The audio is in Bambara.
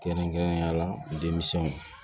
Kɛrɛnkɛrɛnnenya la denmisɛnw